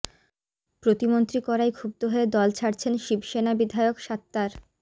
প্রতিমন্ত্রী করায় ক্ষুব্ধ হয়ে দল ছাড়ছেন শিবসেনা বিধায়ক সাত্তার